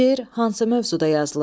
Şeir hansı mövzuda yazılıb?